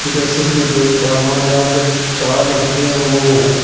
जैसे कि मैं देख पा रहा हूं यहां पे चार लड़के हैं वो--